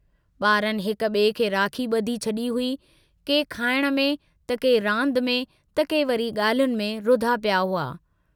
बारनि हिक बिए खे राखी बुधी छड़ी हुई, के खाइण में त के रांदि में त के वरी ग्राल्हियुनि में रुधा पिया हुआ।